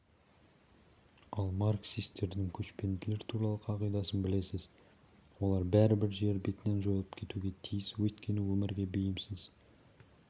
ал марксистердің көшпенділер туралы қағидасын білесіз олар бәрібір жер бетінен жойылып кетуге тиіс өйткені өмірге бейімсіз